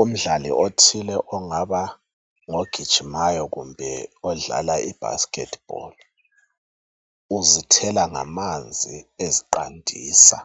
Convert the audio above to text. Umdlali othile ongaba ngogijimayo kumbe odlala ibasket ball .Uzithela ngamanzi eziqandisa